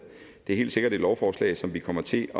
det er helt sikkert et lovforslag som vi kommer til